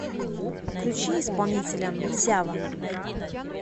включи исполнителя сява